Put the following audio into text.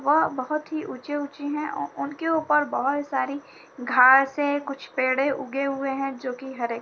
वह बहुत ही ऊंचे ऊंचे हैं। उनके ऊपर बहुत सारी घास है। कुछ पेड़े उगे हुए हैं जो की हरे --